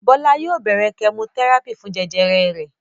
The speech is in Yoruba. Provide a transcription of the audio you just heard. Bọlá yóò bẹ̀rẹ̀ kẹmotẹ́rápì fún jẹjẹrẹ rẹ̀.